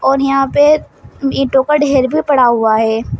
और यहां पे ईटों का ढ़ेर भी पड़ा हुआ है।